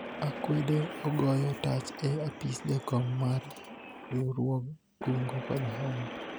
akwede ogoyo tach e apis jakom mar riwruog kungo kod hola